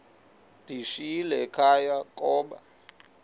ndiyishiyile ekhaya koba